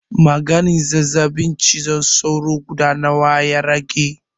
Maganin zazzaɓin cizon sauro guda nawa ya rage?